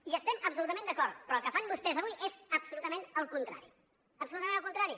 hi estem absolutament d’acord però el que fan vostès avui és absolutament el contrari absolutament el contrari